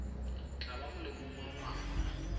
tla ba molemong wa ngwana